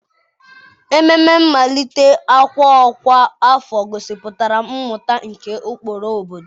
Ememe mmalite ọkwa ọkwa afọ gosipụtara mmụta nke ụkpụrụ obodo.